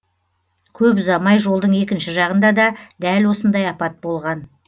көп ұзамай жолдың екінші жағында да дәл осындай апат болған